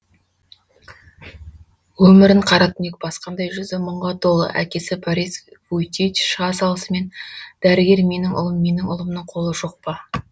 өмірін қара түнек басқандай жүзі мұңға толы әкесі борис вуйчич шыға салысымен дәрігер менің ұлым менің ұлымның қолы жоқ па